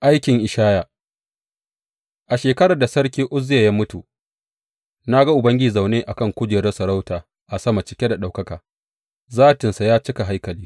Aikin Ishaya A shekarar da Sarki Uzziya ya mutu, na ga Ubangiji zaune a kan kujerar sarauta a sama cike da ɗaukaka, zatinsa ya cika haikali.